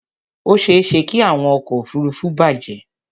Ó ṣeéṣe kí àwọn ọkọ̀ òfuruufú bàjẹ́.